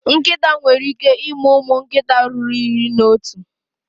Nkịta nwere ike ịmụ ụmụ nkịta ruru iri na otu.